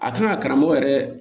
A kan ka karamɔgɔ yɛrɛ